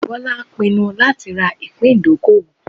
Bola pinnu lati ra ipin idokowo